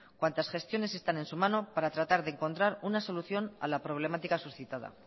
cuantas gestiones están en su mano para encontrar una solución a la problemática suscitada